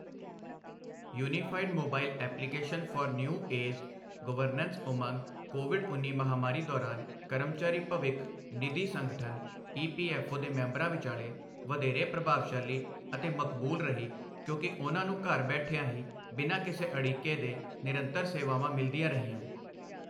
Unified mobile application for new age governance Umang Covid ਉੱਨੀ ਮਹਾਮਾਰੀ ਦੌਰਾਨ ਕਰਮਚਾਰੀ ਭਵਿੱਖ ਨਿਧੀ ਸੰਗਠਨ ਈਪੀਐੱਫ਼ਓ ਦੇ ਮੈਂਬਰਾਂ ਵਿਚਾਲੇ ਵਧੇਰੇ ਪ੍ਰਭਾਵਸ਼ਾਲੀ ਅਤੇ ਮਕਬੂਲ ਰਹੀ ਕਿਉਂਕਿ ਉਨ੍ਹਾਂ ਨੂੰ ਘਰ ਬੈਠਿਆਂ ਹੀ ਬਿਨਾ ਕਿਸੇ ਅੜਿੱਕੇ ਦੇ ਨਿਰੰਤਰ ਸੇਵਾਵਾਂ ਮਿਲਦੀਆਂ ਰਹੀਆਂ।